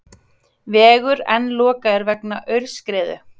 Vegur enn lokaður vegna aurskriðu